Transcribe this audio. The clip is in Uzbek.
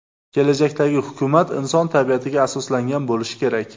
Kelajakdagi hukumat inson tabiatiga asoslangan bo‘lishi kerak.